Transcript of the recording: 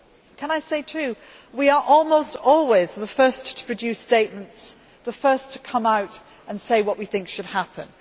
Can I say, too, that we are almost always the first to produce statements, the first to come out and say what we think should happen.